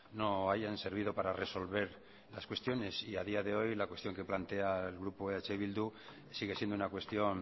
no hayan servido para resolver las cuestiones y a día de hoy la cuestión que plantea el grupo eh bildu sigue siendo una cuestión